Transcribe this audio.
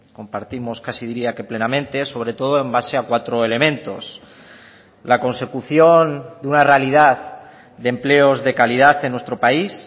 compartimos casi diría que plenamente sobre todo en base a cuatro elementos la consecución de una realidad de empleos de calidad en nuestro país